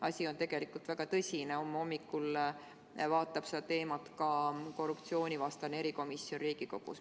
Asi on tegelikult väga tõsine, homme hommikul arutab seda teemat ka korruptsioonivastane erikomisjon Riigikogus.